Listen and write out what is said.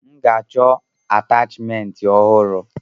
M ga-achọ atachimentị ọhụrụ.